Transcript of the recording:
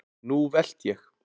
Nú velt ég!